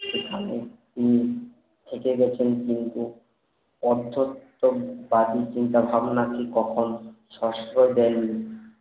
এখানে হম একে গেছেন কিন্তু অর্ধতম বাজে চিন্তা ভাবনা নিয়ে কখন